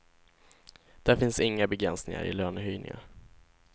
Där finns inga begränsningar i lönehöjningar.